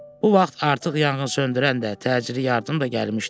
Bu vaxt artıq yanğın söndürən də, təcili yardım da gəlmişdi.